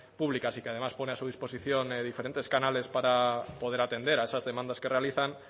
públicas y que además pone a su disposición diferentes canales para poder atender a esas demandas que realizan